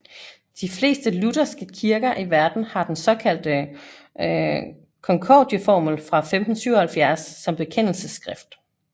De fleste lutherske kirker i verden har den såkaldte Konkordieformel fra 1577 som bekendelsesskrift